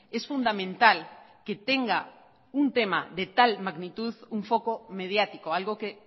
es fundamental que tenga un tema de tal magnitud un foco mediático algo que